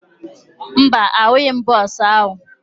Mba, ahụghị m bọọsụ ahụ